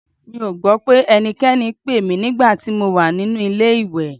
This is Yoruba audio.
Mi ò gbọ́ pé ẹnikẹ́ni pè mí nígbà tí mo wà nínú ilé-ìwẹ̀